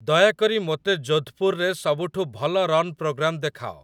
ଦୟାକରି ମୋତେ ଯୋଧପୁରରେ ସବୁଠୁ ଭଲ ରନ୍ ପ୍ରୋଗ୍ରାମ୍ ଦେଖାଅ